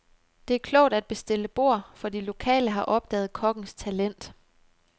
Det er klogt at bestille bord, for de lokale har opdaget kokkens talent.